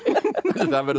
það verður